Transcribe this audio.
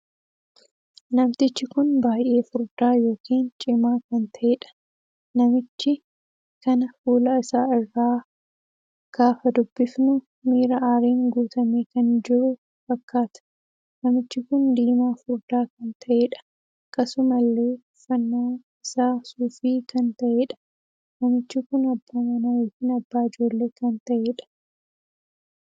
Namtichi kun baay'ee furdaa ykn cimaa kan taheedha. namichi kana fuula isaarraa gaafa dubbifnu miira aariin guutumee kan jiruu fakkaata. namichi kun diimaa furdaa kan taheedha. akkasumallee uffanna isaa suufii kan taheedha. namichi kun abbaa manaa ykn abbaa ijoollee kan taheedha.